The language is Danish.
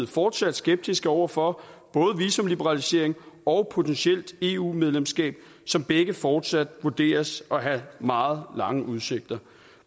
fortsat skeptiske over for både visumliberalisering og potentielt eu medlemskab som begge fortsat vurderes at have meget lange udsigter